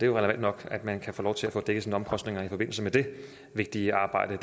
jo relevant nok at man kan få lov til at få dækket sine omkostninger i forbindelse med det vigtige arbejde